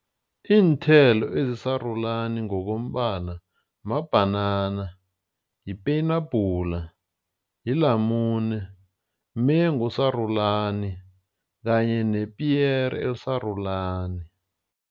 Iinthelo ezisarulani ngokombala mabhanana, yipenabhula. yilamune, mengu osarulani kanye nepiyere elisarulani.